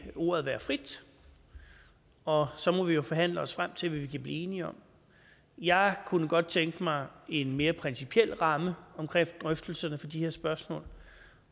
vil ordet være frit og så må vi jo forhandle os frem til hvad vi kan blive enige om jeg kunne godt tænke mig en mere principiel ramme om drøftelserne for de her spørgsmål